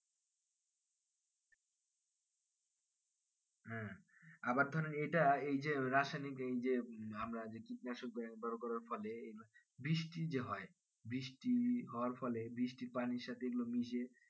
হ্যাঁ আবার ধরেন এটা এই যে আমরা যে রাসায়নিক এই যে আমরা কীটনাশক ব্যবহার করার ফলে বৃষ্টি যে হয় বৃষ্টি হওয়ার ফলে বৃষ্টির পানির সাথে এগুলো মিশে